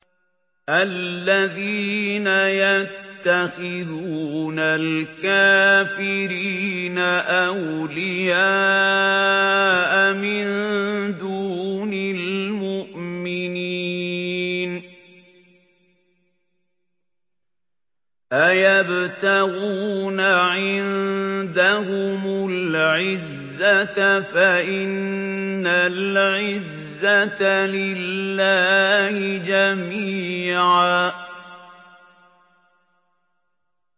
الَّذِينَ يَتَّخِذُونَ الْكَافِرِينَ أَوْلِيَاءَ مِن دُونِ الْمُؤْمِنِينَ ۚ أَيَبْتَغُونَ عِندَهُمُ الْعِزَّةَ فَإِنَّ الْعِزَّةَ لِلَّهِ جَمِيعًا